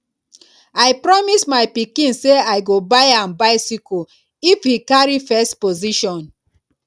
i promise my pikin say i go buy am bicycle if he carry first position